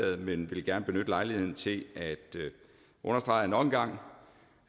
men vil gerne benytte lejligheden til at understrege nok en gang